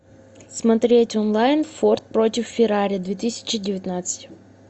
смотреть онлайн форд против феррари две тысячи девятнадцать